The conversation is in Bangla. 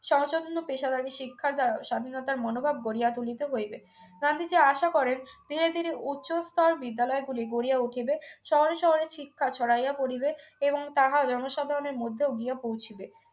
সহযত্ন পেশাদারী শিক্ষার দ্বারা স্বাধীনতার মনোভাব গড়িয়া তুলিতে হইবে গান্ধীজী আশা করেন ধীরে ধীরে উচ্চস্তর বিদ্যালয়ে গুলি গড়িয়া উঠিবে শহরে শহরে চিৎকার ছড়াইয়া পরিবে এবং তাহা জনসাধারণের মধ্যেও গিয়া পৌঁছিবে